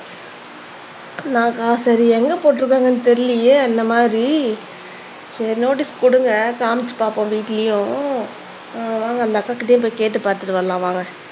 சரி எங்க போட்டுருக்காங்கன்னு தெரியலையே இந்த மாதிரி சரி நோட்டீஸ் குடுங்க காமிச்சு பாப்போம் வீட்லயும் உம் வாங்க அந்த அக்காகிட்டேயே கேட்டுப்பாத்துட்டு வரலாம் வாங்க